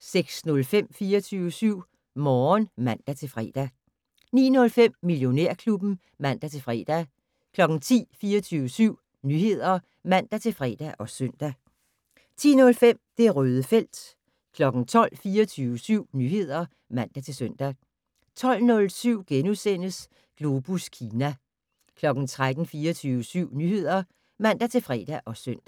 06:05: 24syv Morgen (man-fre) 09:05: Millionærklubben (man-fre) 10:00: 24syv Nyheder (man-fre og søn) 10:05: Det Røde felt 12:00: 24syv Nyheder (man-søn) 12:07: Globus Kina * 13:00: 24syv Nyheder (man-fre og søn)